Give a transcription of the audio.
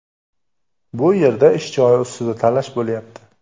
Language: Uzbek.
Bu yerda ish joyi ustida talash bo‘lyapti.